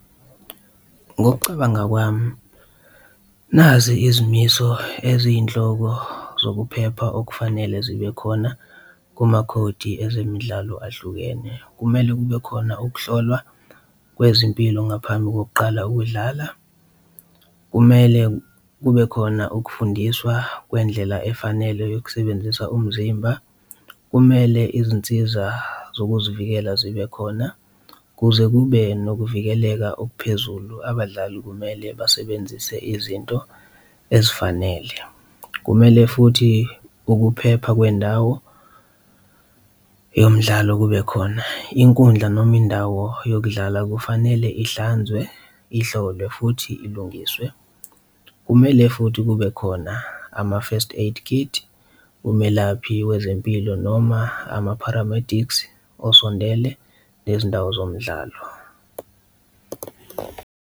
Ngokucabanga kwami nazi izimiso eziyinhloko zokuphepha okufanele zibe khona kumakhodi ezemidlalo ahlukene, kumele kube khona ukuhlolwa kwezimpilo ngaphambi kokuqala ukudlala, kumele kube khona ukufundiswa kwendlela efanele yokusebenzisa umzimba. Kumele izinsiza zokuzivikela zibe khona kuze kube nokuvikeleka okuphezulu, abadlali kumele basebenzise izinto ezifanele, kumele futhi ukuphepha kwendawo yomdlalo kube khona, inkundla noma indawo yokudlala kufanele ihlanzwe, ihlolwe futhi ilungiswe. Kumele futhi kube khona ama-first aid kit, umelaphi wezempilo noma ama-paramedics osondele nezindawo zomdlalo.